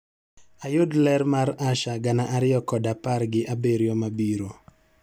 Ayud ler mar Asha gana ariyo kod apar gi abirio mabiro